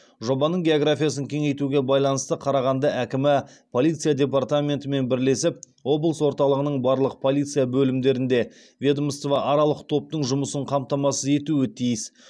жобаның географиясын кеңейтуге байланысты қарағанды әкімі полиция департаментімен бірлесіп облыс орталығының барлық полиция бөлімдерінде ведомствоаралық топтың жұмысын қамтамасыз етуі тиіс